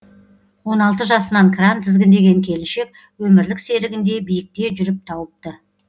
он алты жасынан кран тізгіндеген келіншек өмірлік серігін де биікте жүріп тауыпты